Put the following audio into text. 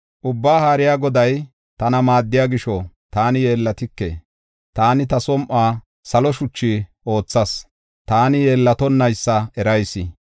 Ubbaa Haariya Goday tana maaddiya gisho, taani yeellatike. Taani ta som7uwa salo shuchu oothas; taani yeellatonnaysa erayis.